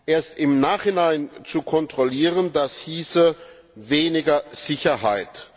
Erst im Nachhinein zu kontrollieren, hieße weniger Sicherheit.